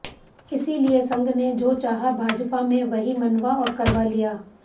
इसलिये संघ ने जो चाहा भाजपा में वहीं मनवा और करवा लिया